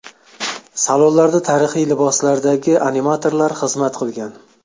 Salonlarda tarixiy liboslardagi animatorlar xizmat qilgan.